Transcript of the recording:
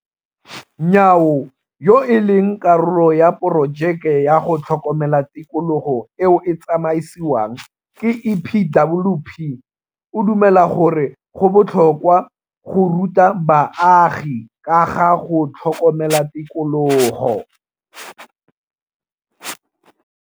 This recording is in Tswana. Nyawo, yo e leng karolo ya porojeke ya go tlhokomela tikologo eo e tsamaisiwang ke EPWP, o dumela gore go botlhokwa go ruta baagi ka ga go tlhokomela tikologo.